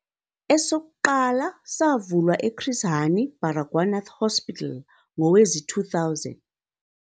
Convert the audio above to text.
Esokuqala savulwa e-Chris Hani Baragwanath Hospital ngowezi-2000.